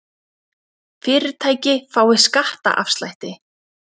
Fyrirtæki fái skattaafslætti